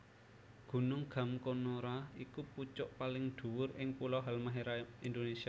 Gunung Gamkonora iku pucuk paling dhuwur ing pulo Halmahera Indonésia